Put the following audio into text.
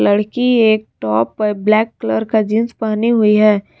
लड़की एक टॉप और ब्लैक कलर का जींस पहनी हुई है।